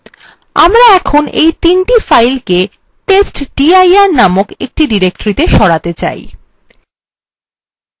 আমরা এখন এই তিনটি files কে testdir নামক একটি directoryত়ে সরাতে চাই